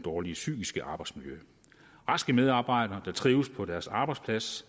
dårlige psykiske arbejdsmiljø raske medarbejdere der trives på deres arbejdsplads